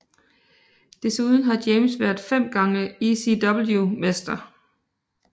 Desuden har James været 5 gange ECW mester